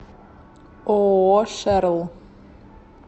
ооо шерл